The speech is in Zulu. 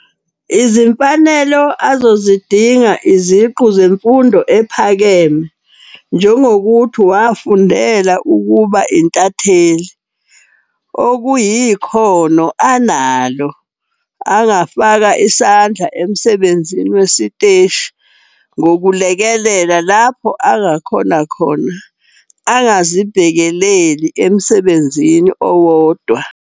Izimfanelo azozidinga iziqu zemfundo ephakeme njengokuthi wafundela ukuba intatheli. Okuyikhono analo, angafaka isandla emsebenzini wesiteshi ngokulekelela lapho angakhona khona. Angazibhekeleli emsebenzini owodwa.